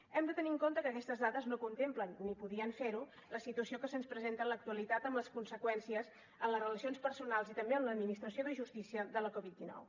hem de tenir en compte que aquestes dades no contemplen ni podien fer ho la situació que se’ns presenta en l’actualitat amb les conseqüències en les relacions personals i també en l’administració de justícia de la covid dinou